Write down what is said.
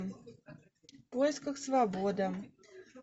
в поисках свободы